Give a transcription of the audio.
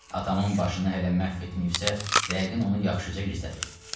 Atamın başını hələ məhv etməyibsə, yəqin onu yaxşıca gizlədib.